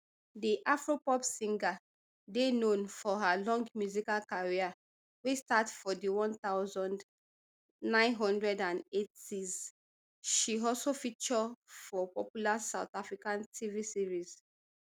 di afropop singer dey known for her long musical career wey start for di one thousand, nine hundred and eightys she also feature for popular south african tv series